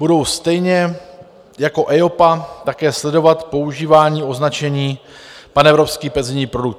Budou stejně jako EIOPA také sledovat používání označení panevropský penzijní produkt.